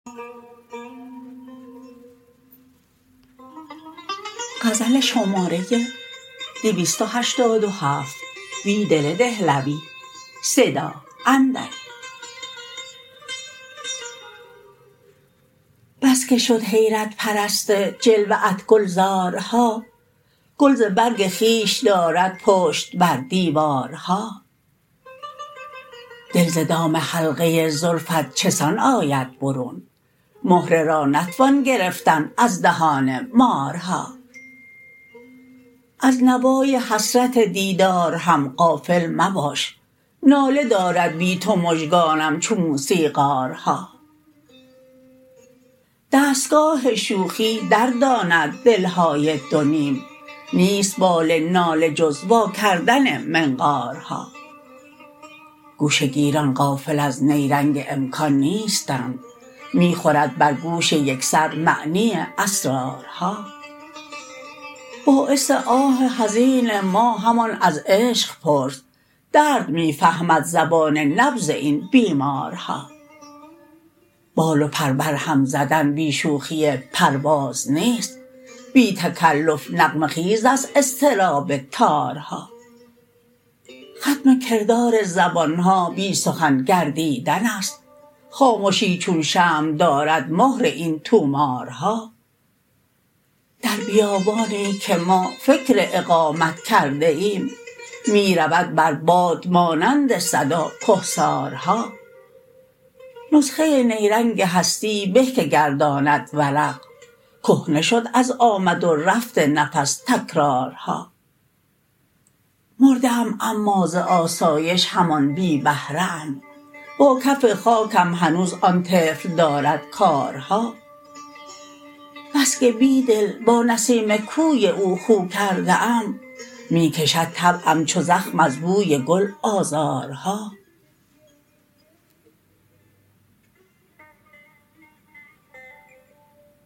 بسکه شد حیرت پرست جلوه ات گلزارها گل ز برگ خویش دارد پشت بر دیوارها دل ز دام حلقه زلف ات چه سان آید برون مهره را نتوان گرفتن از دهان مارها از نوای حسرت دیدار هم غافل مباش ناله دارد بی تو مژگانم چو موسیقارها دستگاه شوخی درداند دل های دونیم نیست بال ناله جز واکردن منقارها گوشه گیران غافل از نیرنگ امکان نیستند می خورد بر گوش یک سر معنی اسرارها باعث آه حزین ما همان از عشق پرس درد می فهمد زبان نبض این بیمارها بال و پر برهم زدن بی شوخی پرواز نیست بی تکلف نغمه خیز است اضطراب تارها ختم کردار زبان ها بی سخن گردیدن است خامشی چون شمع دارد مهر این طومارها در بیابانی که ما فکر اقامت کرده ایم می رود بر باد مانند صدا کهسارها نسخه نیرنگ هستی به که گرداند ورق کهنه شد از آمد و رفت نفس تکرارها مرده ام اما ز آسایش همان بی بهره ام با کف خاکم هنوز آن طفل دارد کارها بسکه بیدل با نسیم کوی او خو کرده ام می کشد طبعم چو زخم از بوی گل آزارها